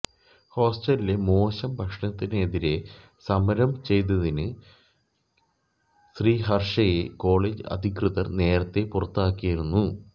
ഹോസ്റ്റലിലെ മോശം ഭക്ഷണത്തിനെതിരേ സമരം ചെയ്തതിന് ശ്രീഹര്ഷയെ കോളജ് അധികൃതര് നേരത്തെ പുറത്താക്കിയിരുന്നു